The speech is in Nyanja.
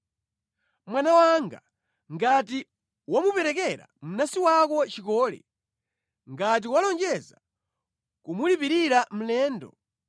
Mwana wanga, ngati wamuperekera mnansi wako chikole, ngati walonjeza kumulipirira mlendo,